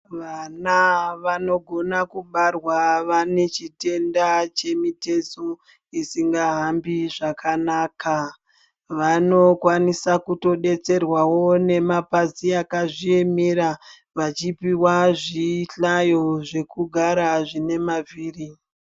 Vana vanogona kubarwa vane chitenda chemitezo isingahambi zvakanaka. Vanokwanisa kutodetserwawo nemapazi akazviemera vachipiwa zvihlayo zvekugara zvine mavhiri.